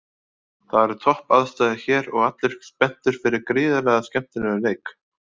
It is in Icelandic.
Það eru topp aðstæður hér og allir spenntir fyrir gríðarlega skemmtilegum leik